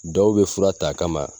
Dɔw bɛ fura t'a kama